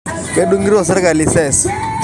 Kudunguto serikali sees